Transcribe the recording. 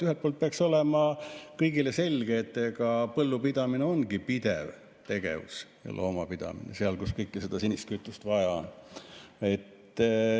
Ühelt poolt peaks olema kõigile selge, et põllupidamine ongi pidev tegevus, ja loomapidamine – seal, kus seda sinist kütust vaja on.